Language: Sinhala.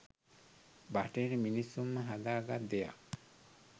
‘බටහිර’ මිනිස්සුම හදා ගත් දෙයක්..